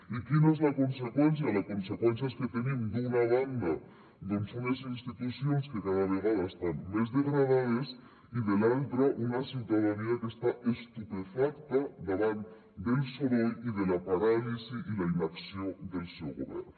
i quina és la conseqüència la conseqüència és que tenim d’una banda doncs unes institucions que cada vegada estan més degradades i de l’altra una ciutadania que està estupefacta davant del soroll i de la paràlisi i la inacció del seu govern